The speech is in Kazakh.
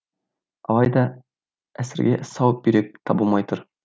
алайда әсірге сау бүйрек табылмай тұр